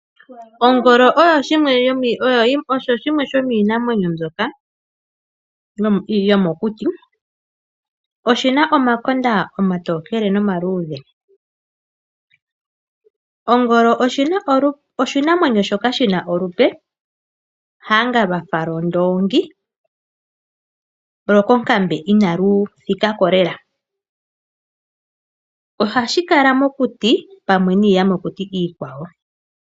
Ongolo osho shimwe shomiinamwenyo mbyoka yomokuti. Oshi na omakonda omatokele nomaluudhe. Ongolo oshinamwenyo shoka shi na olupe hanga lwafa lwoondongi lwo konkambe ina lu thika ko lela. Ohashi kala mokuti pamwe niiyamakuti ikwawo.